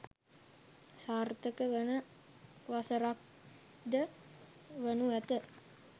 සාර්ථක වන වසරක්ද වනු ඇත.